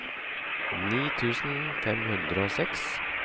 ni tusen fem hundre og seks